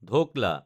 dhokla